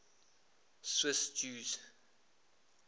swiss jews